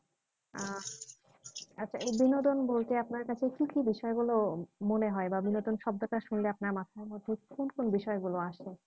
আহ আচ্ছা এই বিনোদন বলতে আপনার কাছে কি কি বিষয় গুলো মনে হয় বা বিনোদন শব্দটা শুনলে আপনার মাথার মধ্যে কোন কোন বিষয়গুলো আসে